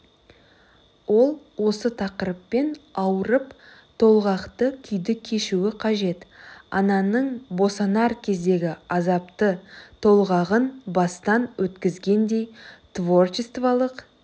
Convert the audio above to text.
ол осы тақырыппен ауырып толғақты күйді кешуі қажет ананың босанар кездегі азапты толғағын бастан өткізгендей творчестволық